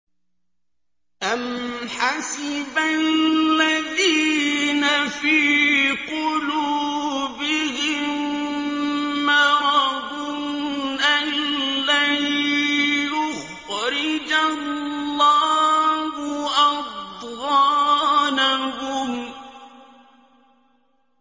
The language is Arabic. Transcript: أَمْ حَسِبَ الَّذِينَ فِي قُلُوبِهِم مَّرَضٌ أَن لَّن يُخْرِجَ اللَّهُ أَضْغَانَهُمْ